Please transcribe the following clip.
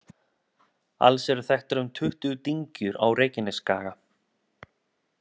Alls eru þekktar um tuttugu dyngjur á Reykjanesskaga.